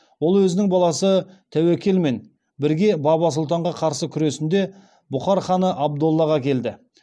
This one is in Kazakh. ол өзінің баласы тәуекелмен бірге баба сұлтанға қарсы күресінде бұқар ханы абдоллаға келді